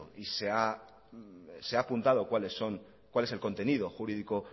y se ha apuntado cuál es el contenido el jurídico